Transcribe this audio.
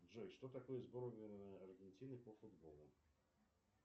джой что такое сборная аргентины по футболу